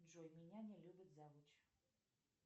джой меня не любит завуч